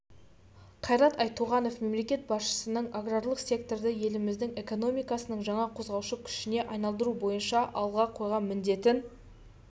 қайрат айтуғанов мемлекет басшысының аграрлық секторды еліміздің экономикасының жаңа қозғаушы күшіне айналдыру бойынша алға қойған міндетін